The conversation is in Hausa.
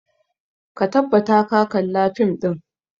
Ka tabbata ka kalla fim ɗin!